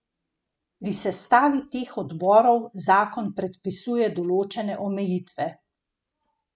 Pri sestavi teh odborov zakon predpisuje določene omejitve.